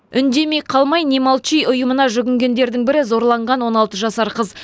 үндемей қалмай не молчи ұйымына жүгінгендердің бірі зорланған он алты жасар қыз